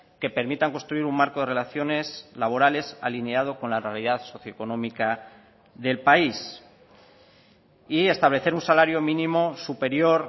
que permitan construir un marco de relaciones laborales alineado con la realidad socioeconómica del país y establecer un salario mínimo superior